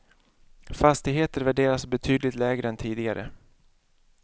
Fastigheter värderas betydligt lägre än tidigare.